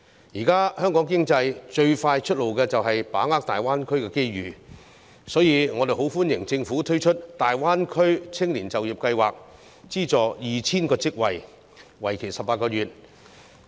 現時，香港經濟最快的出路就是把握大灣區的機遇，所以我們很歡迎政府推出大灣區青年就業計劃，資助 2,000 個職位，為期18個月。